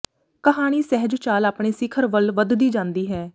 ਕਹਾਣੀ ਸਹਿਜ ਚਾਲ ਆਪਣੇ ਸਿਖਰ ਵੱਲ ਵਧਦੀ ਜਾਂਦੀ ਹੈ